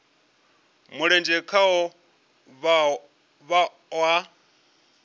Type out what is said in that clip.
mulenzhe khaho vha o a